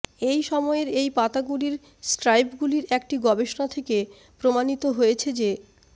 এই সময়ের এই পাতাগুলির স্ট্রাইপগুলির একটি গবেষণা থেকে প্রমাণিত হয়েছে যে